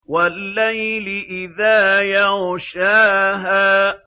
وَاللَّيْلِ إِذَا يَغْشَاهَا